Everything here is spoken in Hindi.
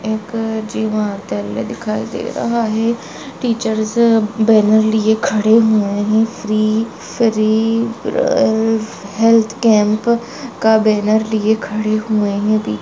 एक दिखाई दे रहा है टीचर्स बैनर लिए खड़े हुए है free free uh health camp का बैनर लिए खड़े हुए है।